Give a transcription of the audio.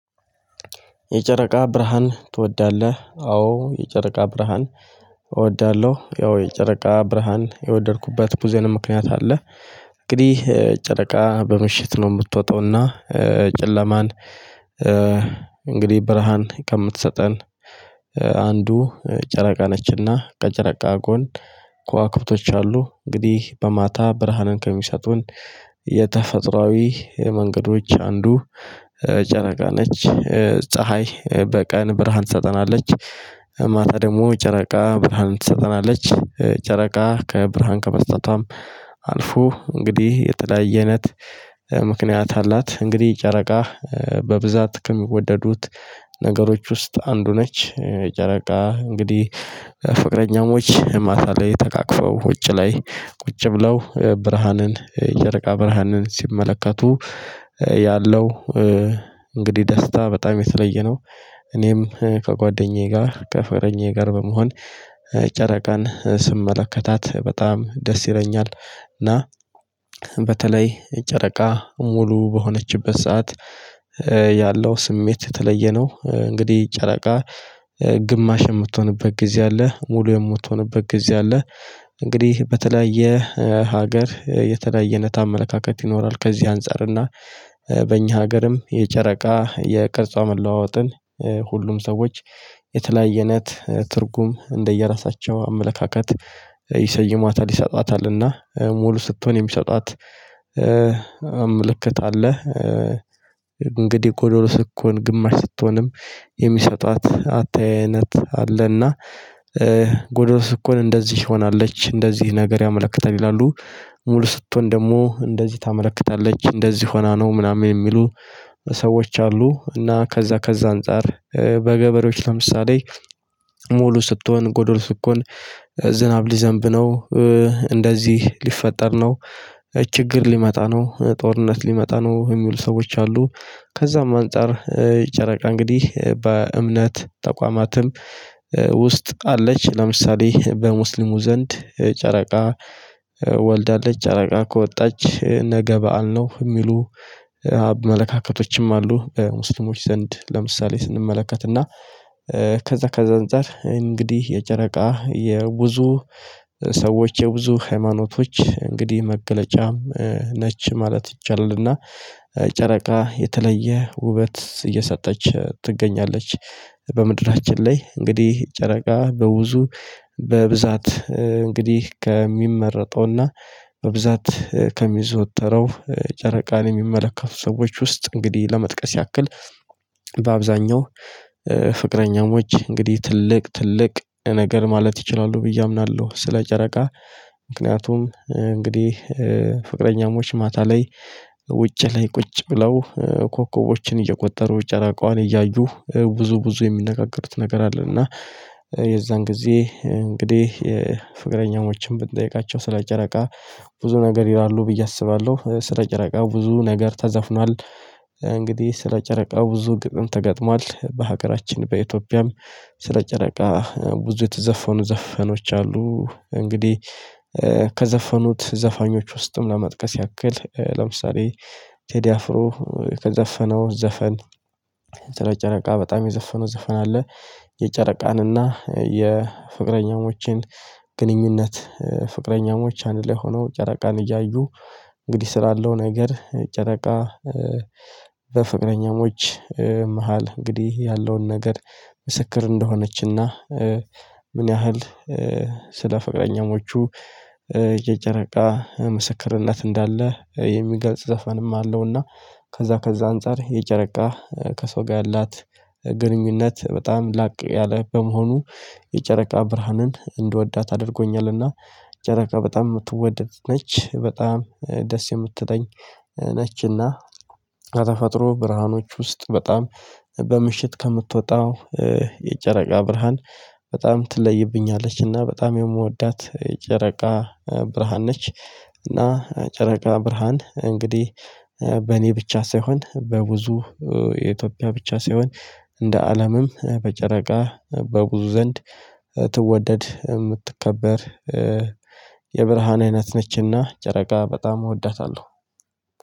የጨረቃ ብርሃን ትወዳለህ? አዎ የጨረቃ ብርሃን እወዳለሁ ያው የጨረቃ ብርሃን የወደድኩበት ቡዙ ምክንያት አለ። እንግዲህ ጨረቃ በምሽት ነው የምትወጣውና። ጨለማን እንግዲህ ብርሃን ከምትሰጠን። አንዱ ጨረቃ ነችና ከጨረቃ ጎን ከዋክብቶች አሉ። እንግዲህ በማታ ብርሃንን ከሚሰጡን የተፈጥሮአዊ መንገዶች አንዱ ጨረቃ ነች። ፀሀይ በቀን ብርሃን ትሰጠናለች። ማታ ደግሞ ጨረቃ ብርሃንን ትሰጠናለች ጨረቃ ከብርሃን ከመስጠቷም አልፎ እንግዲህ የተለያየነት ምክንያት አላት። እንግዲህ ጨረቃ በብዛት ከሚወደዱት ነገሮች ውስጥ አንዱ ነች። ጨረቃ እንግዲህ ፍቅረኛሞች ማታ ላይ ተቃቅፈው ውጭ ላይ ቁጭ ብለው ብርሃንን የጅጨረቃ ብርሃንን ሲመለከቱ ያለው እንግዲህ ደስታ በጣም የተለየ ነው። እኔም ከጓደኛዬ ጋር ከፍቅረኛዬ ጋር በመሆን ጨረቃን ስመለከታት በጣም ደስ ይለኛል። እና በተለይ ጨረቃ ሙሉ በሆነችበት ሰዓት ያለው ስሜት የተለየ ነው። እንግዲህ ጨረቃ ግማሽ የምትሆንበት ጊዜ አለ ሙሉ የምትሆንበት ጊዜ አለ። እንግዲህ በተለያየ ሀገር የተለያየ ኣይነት አመለካከት ይኖራል። ከዚህ አንፃር እና በእኛ ሀገርም የጨረቃ የቅርጿ መለዋወጥን ሁሉም ሰዎች የተለያየናት ትርጉም እንደየራሳቸው አመለካከት ይሰይማታል ይሰጣታልና ሙሉ ስትሆን የሚሰጣት አምልክት አለ። እንግዲህ ጎዶሎ ስትሆንም ግማሽ ስትሆንም የሚሰጧት አተያይ እይነት አለና ጎዶሎ ስትሆን እንደዚህ ሆናለች እንደዚህ ነገር ያመለክታል ይላሉ። ሙሉ ስትሆን ደግሞ እንደዚህ ታመለክታለች እንደዚህ ሆና ነው ምናምን የሚሉ ሰዎች አሉ። እና ከዛ ከዛ አንፃር በገበሬዎች ለምሳሌ ሙሉ ስትሆን ጎዶሎ ስትሆን ዝናብ ሊዘንብ ነው እንደዚህ ሊፈጠር ነው ችግር ሊመጣ ነው ጦርነት ሊመጣ ነው የሚሉ ሰዎች አሉ። ከዛም አንፃር ጨረቃ እንግዲህ በእምነት ተቋማትም ውስጥ አለች ለምሳሌ በሙስሊሙ ዘንድ ጨረቃ ወልዳለች ጨረቃ ከወጣች ነገ በዓል ነው የሚሉ አመለካከቶችም አሉ። በሙስልሞች ዘንድ ለምሳሌ ስንመለከትና ከዛ ከዛ አንፃር እንግዲህ የጨረቃ የብዙ ሰዎች የብዙ ሃይማኖቶች እንግዲህ መገለጫም ነች ማለት ይቻላልና። ጨረቃ የተለየ ውበት እየሰጠች ትገኛለች። በምድራችን ላይ እንግዲህ ጨረቃ በብዙ በብዛት እንግዲህ ከሚመረጠውና በብዛት ከሚዘወተረው ጨረቃን የሚመለከቱ ሰዎች ውስጥ እንግዲህ ለመጥቀስ ያክል በአብዛኛው ፍቅረኛሞች እንግዲህ ትልቅ ትልቅ ነገር ማለት ይችላሉ ብዬ አምናለሁ። ስለ ጨረቃ ምክንያቱም እንግዲህ ፍቅረኛሞች ማታ ላይ ውጪ ላይ ቁጭ ብለው ኮከቦችን እየቆጠሩ ጨረቃዋን እያዩ ብዙ ብዙ የሚነጋገሩት ነገር አለ። እና የዛን ጊዜ እንግዲህ የፍቅረኛዎችን ብንጠይቃቸው ስለ ጨረቃ ብዙ ነገር ይላሉ ብዬ አስባለሁ። ስለ ጨረቃ ብዙ ነገር ተዘፍኗል። እንግዲህ ስለ ጨረቃ ብዙ ግጥም ተገጥሟል በሀገራችን በኢትዮጵያም ስለ ጨረቃ ብዙ የተዘፈኑ ዘፈኖች አሉ። እንግዲህ ከዘፈኑት ዘፋኞች ውስጥም ለመጥቀስ ያክል ለምሳሌ ቴዲ አፍሮ ከዘፈነው ዘፈን ስለ ጨረቃ በጣም የዘፈነው ዘፈን አለ። የጨረቃን እና የፍቅረኛሞችን ግንኙነት ፍቅረኛሞች አንድ ላይ ሆነው ጨረቃን እያዩ እንግዲህ ስላለው ነገር ጨረቃ በፍቅረኛሞች መሃል እንግዲህ ያለውን ነገር ምስክር እንደሆነችና ምን ያህል ስለ ፈቅረኛመቹ የጨረቃ ምስክርነት እንዳለ የሚገልጽ ዘፈንም አለውና። ከዛ ከዛ አንፃር የጨረቃ ከሰው ጋር ያላት ግንኙነት በጣም ላቅ ያለ በመሆኑ የጨረቃ ብርሃንን እንድወዳት ኣድርጎኛልና። ጨረቃ በጣም የምትወደድ ነች በጣም ደስ የምትለኝ ነችና። ከተፈጥሮ ብርሃኖች ውስጥ በጣም በምሽት ከምትወጣው የጨረቃ ብርሃን በጣም ትለይብኛለችና በጣም የምወዳት ጨረቃ ብርሃን ነች። እና ጨረቃ ብርሃን እንግዲህ በእኔ ብቻ ሳይሆን በብዙ የኢትዮጵያ ብቻ ሳይሆን እንደ አለምም በጨረቃ በብዙ ዘንድ ትወደድ የምትከበር የብርሃን አይነት ነችና ጨረቃ በጣም እወዳታለሁ።